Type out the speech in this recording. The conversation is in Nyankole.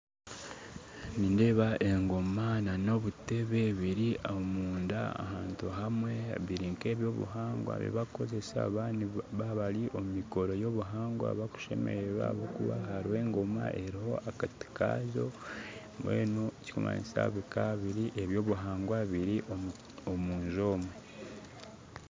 Nindeeba engoma n'obuteebe biri omunda ahantu hamwe biri nk'eby'obuhangwa barikukozesa baaba bari omu mikoro y'obuhangwa barikushemererwa, hariho engoma hariho akati kaayo, mbwenu ekirikumanyisa bikaba biri eby'obuhangwa biri omunju omwo